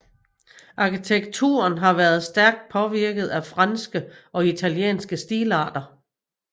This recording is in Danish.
Arkitekturen har været stærkt påvirket af franske og italienske stilarter